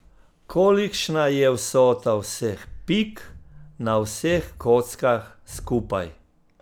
Kolikšna je vsota vseh pik na vseh kockah skupaj?